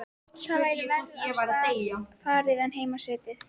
Þá væri verr af stað farið en heima setið.